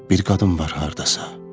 Bir qadın var hardasa.